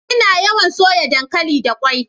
Ina yawan soya dankali da ƙwai.